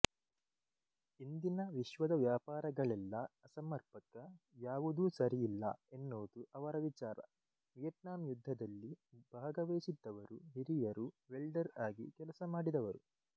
ಇಂದಿನ ವಿಶ್ವದ ವ್ಯಾಪಾರಗಳೆಲ್ಲ ಅಸಮರ್ಪಕ ಯಾವುದೂ ಸರಿಯಿಲ್ಲ ಎನ್ನುವುದು ಅವರ ವಿಚಾರ ವಿಯಟ್ನಾಮ್ ಯುದ್ಧದಲ್ಲಿ ಭಾಗವಹಿಸಿದ್ದವರು ಹಿರಿಯರು ವೆಲ್ಡರ್ ಆಗಿಕೆಲಸಮಾಡಿದವರು